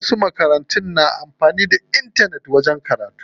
Wasu makarantun na amfanin da intanet wajen karatu.